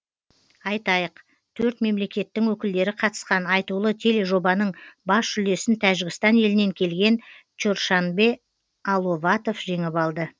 айтайық төрт мемлекеттің өкілдері қатысқан айтулы тележобаның бас жүлдесін тәжікстан елінен келген чоршанбе аловатов жеңіп алды